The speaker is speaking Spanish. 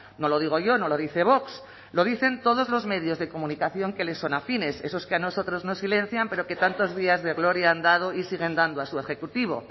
no lo digo yo no lo dice vox lo dicen todos los medios de comunicación que les son afines esos que a nosotros nos silencian pero que tantos días de gloria han dado y siguen dando a su ejecutivo